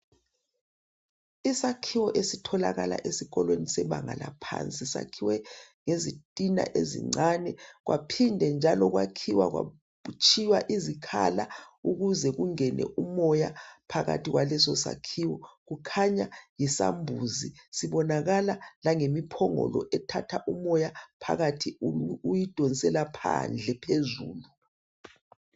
Isakhiwo esitholakala esikolweni saphansi siyakhiwe ngezithina ezincane kwaphinda njalo kwatshiywa izikhala ukuze kungene umoya phakathi kwaleso sakhiwo kuqanya yisambuzi sibonakala ngempongolo ethatha umuya phakathi iwudonsela phandle phezulu